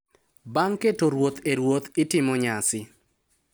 Bang’ keto ruoth e ruoth, itimo nyasi